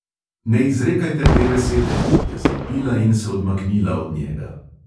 "Ne izrekajte te besede," je zavpila in se odmaknila od njega.